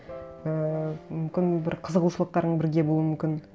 ііі мүмкін бір қызығушылықтарың бірге болуы мүмкін